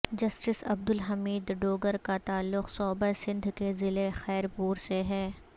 justice Abdul Hameed Dogar کا تعلق صوبہ سندھ کے ضلح خیر پور سے ہے